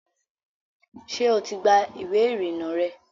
ṣé o ti gba ìwé ìrìnnà rẹ?